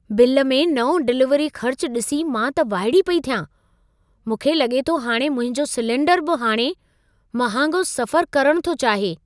Bill में नओं delivery ख़र्च डि॒सी मां त वाइड़ी पेई थियां। मूंखे लगे॒ थो हाणे मुंहिंजो सिलिंडर बि हाणे महांगो सफ़र करण थो चाहे!